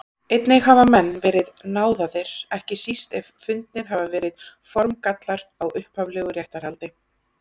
Einnig hafa menn verið náðaðir, ekki síst ef fundnir hafa verið formgallar á upphaflegu réttarhaldi.